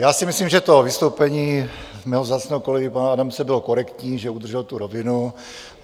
Já si myslím, že to vystoupení mého vzácného kolegy pana Adamce bylo korektní, že udržel tu rovinu.